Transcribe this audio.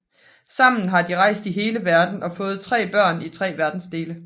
Sammen har de rejst i hele verden og fået tre børn i tre verdensdele